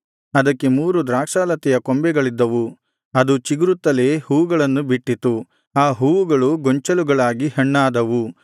ಅದಕ್ಕೆ ಮೂರು ದ್ರಾಕ್ಷಾಲತೆಯ ಕೊಂಬೆಗಳಿದ್ದವು ಅದು ಚಿಗುರುತ್ತಲೇ ಹೂವುಗಳನ್ನು ಬಿಟ್ಟಿತು ಆ ಹೂವುಗಳು ಗೊಂಚಲುಗಳಾಗಿ ಹಣ್ಣಾದವು